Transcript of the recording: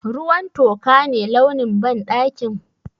Ruwan toka ne launin banɗakin?